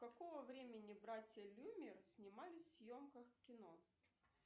какого времени братья люмьер снимались в съемках в кино